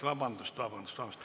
Vabandust, vabandust!